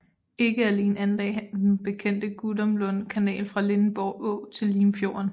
Ikke alene anlagde han den bekendte Gudumlund Kanal fra Lindenborg Å til Limfjorden